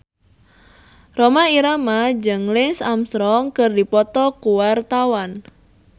Rhoma Irama jeung Lance Armstrong keur dipoto ku wartawan